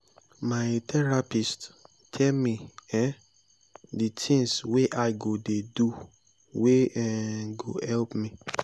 my therapist tell me um di tins wey i go dey do wey um go help me.